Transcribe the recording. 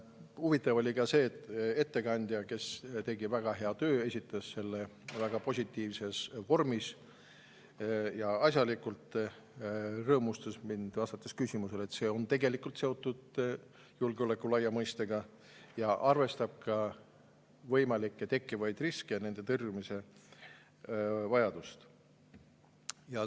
Huvitav oli ka see, et ettekandja, kes tegi väga head tööd, esitas seda väga positiivses vormis ja asjalikult, rõõmustas mind ka vastusega, et see on seotud julgeoleku laia mõistega ning arvestab võimalikke tekkivaid riske ja nende tõrjumise vajadust.